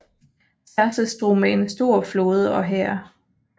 Xerxes drog med en stor flåde og hær